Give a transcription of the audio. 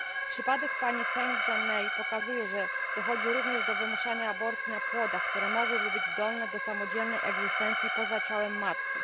Przypadek pani Feng Jianmei pokazuje, że dochodzi również do wymuszania aborcji na płodach, które mogłyby być zdolne do samodzielnej egzystencji poza ciałem matki.